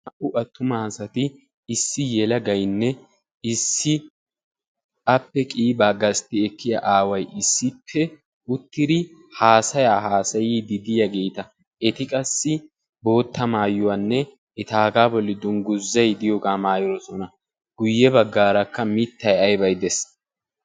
naa'u attuma asati issippe issi yelagaynne issi ape qiibaa gasti etaagaa aaway issippe uttidi haasayaa haasayidi diyaageeta ei qassi bootta maayuqanne etaagaa bolli bolli danguzay diyoogaa maayidosona. guye bagaarakka mitay aybay dees.